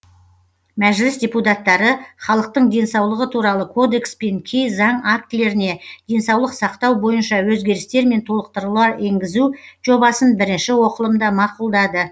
мәжіліс депутаттары халықтың денсаулығы туралы кодекс пен кей заң актілеріне денсаулық сақтау бойынша өзгерістер мен толықтырулар енгізу жобасын бірінші оқылымда мақұлдады